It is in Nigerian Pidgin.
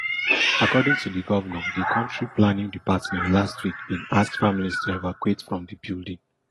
according to di govnor di county planning department last week bin ask families to evacuate from di building